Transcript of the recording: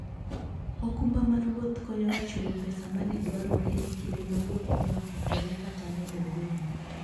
okumba mar wuoth konyo e chulo pesa ma ne dwarore e kinde ma wuoth ne okethore kata ne ogol.